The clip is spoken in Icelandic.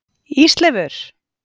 Ísleifur